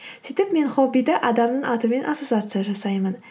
сөйтіп мен хоббиді адамның атымен ассоциация жасаймын